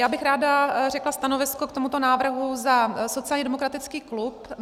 Já bych ráda řekla stanovisko k tomuto návrhu za sociálně demokratický klub.